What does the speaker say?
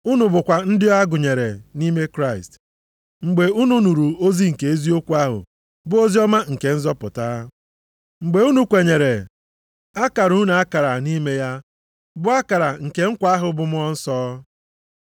Unu bụkwa ndị a gụnyere nʼime Kraịst mgbe unu nụrụ ozi nke eziokwu ahụ bụ oziọma nke nzọpụta. Mgbe unu kwenyere, a kara unu akara nʼime ya bụ akara nke nkwa ahụ bụ Mmụọ Nsọ.